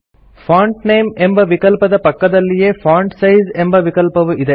font name ಎಂಬ ವಿಕಲ್ಪದ ಪಕ್ಕದಲ್ಲಿಯೇ ಫಾಂಟ್ ಸೈಜ್ ಎಂಬ ವಿಕಲ್ಪವು ಇದೆ